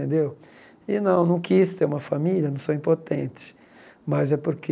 Tendeu e não, não quis ter uma família, não sou impotente, mas é porque